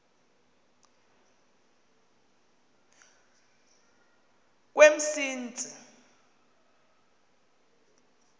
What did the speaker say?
kwemsintsi